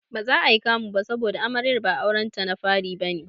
Baza ayi kamu ba saboda Amaryar ba aurenta na fari bane.